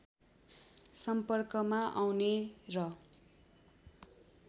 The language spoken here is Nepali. सम्पर्कमा आउने र